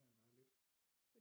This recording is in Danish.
Ja ja der er lidt